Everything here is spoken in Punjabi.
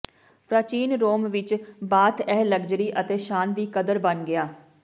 ਪ੍ਰਾਚੀਨ ਰੋਮ ਵਿਚ ਬਾਥ ਇਹ ਲਗਜ਼ਰੀ ਅਤੇ ਸ਼ਾਨ ਦੀ ਕਦਰ ਬਣ ਗਿਆ